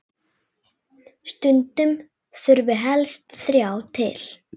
Stundum þurfi helst þrjá til.